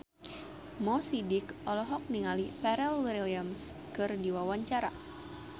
Mo Sidik olohok ningali Pharrell Williams keur diwawancara